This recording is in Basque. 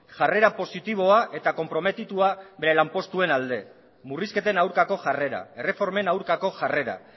jarrera positiboa eta konprometitua bere lanpostuen alde murrizketen aurkako jarrera erreformen aurkako jarrera